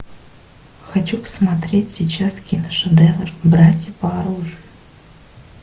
хочу посмотреть сейчас киношедевр братья по оружию